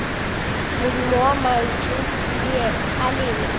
modumo wa mantšu a lena